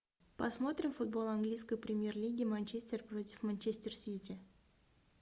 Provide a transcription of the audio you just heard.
посмотрим футбол английской премьер лиги манчестер против манчестер сити